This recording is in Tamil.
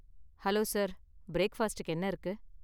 ஹலோ சார், பிரேக்ஃபாஸ்டுக்கு என்ன இருக்கு?